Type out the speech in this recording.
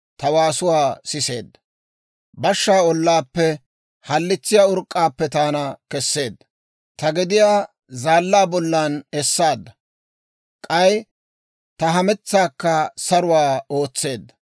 Bashshaa ollaappe, halitsiyaa urk'k'aappe taana kesseedda. Ta gediyaa zaallaa bollan esseedda; k'ay ta hametsaakka saruwaa ootseedda.